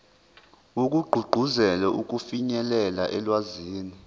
wokugqugquzela ukufinyelela olwazini